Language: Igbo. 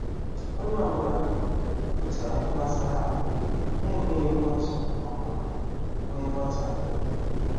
Onye ọ bụla um kwupụtara ihe gbasara anyị na emeghị mkpọtụ maọbụ um wee nghotahio